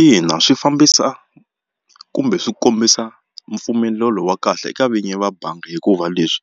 Ina swi fambisa kumbe swi kombisa mpfumelelo wa kahle eka vinyi va bangi hikuva leswi